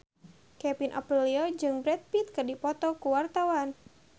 Kevin Aprilio jeung Brad Pitt keur dipoto ku wartawan